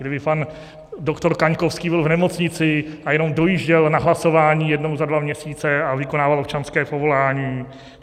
Kdyby pan doktor Kaňkovský byl v nemocnici a jenom dojížděl na hlasování jednou za dva měsíce a vykonával občanské povolání.